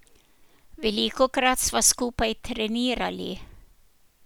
Velikokrat sva skupaj trenirali.